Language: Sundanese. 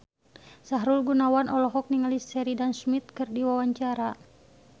Sahrul Gunawan olohok ningali Sheridan Smith keur diwawancara